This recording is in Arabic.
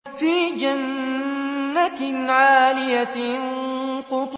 فِي جَنَّةٍ عَالِيَةٍ